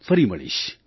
ફરી મળીશ